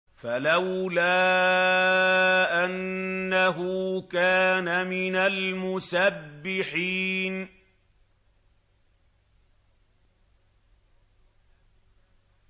فَلَوْلَا أَنَّهُ كَانَ مِنَ الْمُسَبِّحِينَ